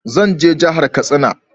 Zan je jahar Katsina